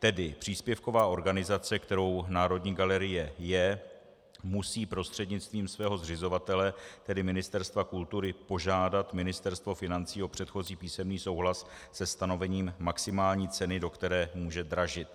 Tedy příspěvková organizace, kterou Národní galerie je, musí prostřednictvím svého zřizovatele, tedy Ministerstva kultury, požádat Ministerstvo financí o předchozí písemný souhlas se stanovením maximální ceny, do které může dražit.